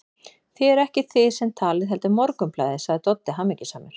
Það eruð ekki þið sem talið, heldur Morgunblaðið, sagði Doddi hamingjusamur.